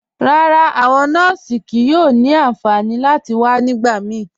Rárá, awọn nọọsì kíí yóò ni ànfànì láti wà nígbàmíí.